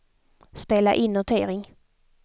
spela in notering